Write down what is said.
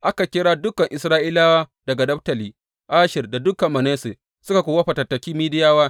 Aka kira dukan Isra’ilawa daga Naftali, Asher da dukan Manasse, suka kuwa fatattaki Midiyawa.